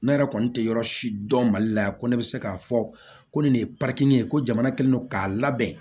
Ne yɛrɛ kɔni tɛ yɔrɔ si dɔn mali la yan ko ne bɛ se k'a fɔ ko nin de ye ye ko jamana kɛlen don k'a labɛn